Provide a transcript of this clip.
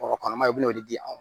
kɔnɔmaya i bɛna n'o di anw ma